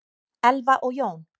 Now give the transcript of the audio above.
Elfa og Jón.